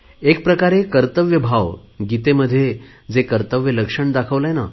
एक प्रकारे कर्तव्यभाव गीतेमध्ये कर्तव्य लक्षण दाखवले आहे